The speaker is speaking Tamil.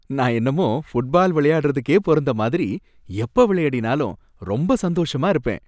நான் என்னமோ ஃபுட்பால் விளையாடுறதுக்கே பொறந்த மாதிரி, எப்ப விளையாடினாலும் ரொம்ப சந்தோஷமா இருப்பேன்.